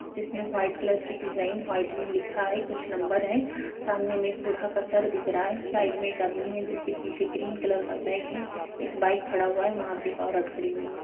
जिसमें white colour की design white में लिखा है कुछ नंबर है सामने में एक बूढ़ा का सर दिख रहा है साइड मे एक आदमी है जिसके पीछे ग्रीन कलर का बैग है एक बाइक खड़ा हुआ है वहाँ पर एक औरत खड़ी हुई है।